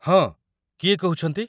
ହଁ, କିଏ କହୁଛନ୍ତି?